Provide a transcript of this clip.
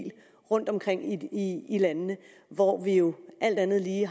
rundtomkring i i landene hvor vi jo alt andet lige